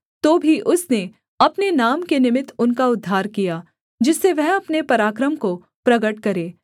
तो भी उसने अपने नाम के निमित्त उनका उद्धार किया जिससे वह अपने पराक्रम को प्रगट करे